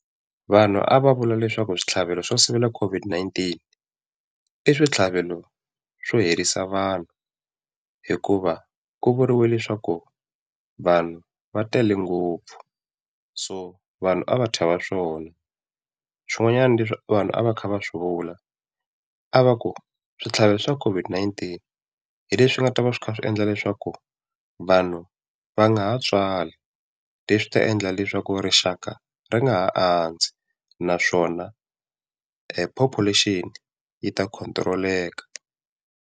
Vanhu a va vula leswaku switlhavelo swo sivela COVID-19 i switlhavelo swo herisa vanhu hikuva ku vuriwe leswaku vanhu va tele ngopfu, so vanhu a va chava swona. Swin'wanyana leswi vanhu a va kha va swi vula, a va ku switlhavelo swa COVID-19 hi leswi nga ta va swi kha swi endla leswaku vanhu va nga ha tswali, leswi ta endla leswaku rixaka ri nga ha andzi naswona population yi ta control-eka.